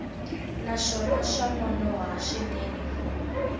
naswona swa nonoha swinene ku